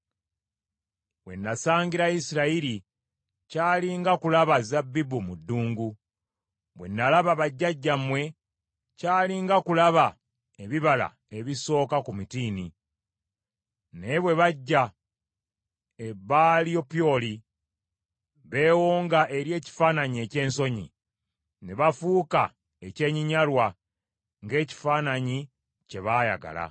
We nasangira Isirayiri, kyali nga kulaba zabbibu mu ddungu. Bwe nalaba bajjajjammwe, kyali nga kulaba ebibala ebisooka ku mutiini. Naye bwe bajja e Baalipyoli, beewonga eri ekifaananyi eky’ensonyi, ne bafuuka ekyenyinnyalwa ng’ekifaananyi kye baayagala.